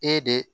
E de